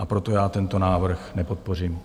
A proto já tento návrh nepodpořím.